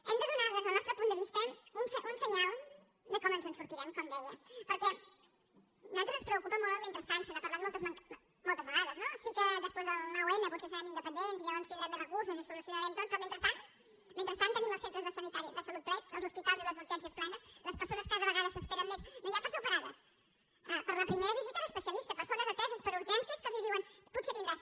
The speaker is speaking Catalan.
hem de donar des del nostre punt de vista un senyal de com ens en sortirem com deia perquè a nosaltres ens preocupa molt el mentrestant se n’ha parlat moltes vegades no sí que després del nou n potser serrem independents i llavors tindrem més recursos i ho solucionarem tot però mentrestant mentrestant tenim els centres de salut plens els hospitals i les urgències plenes les persones cada vegada s’esperen més no ja per ser operades per a la primera visita a l’especialista persones ateses per urgències que els diuen potser tindràs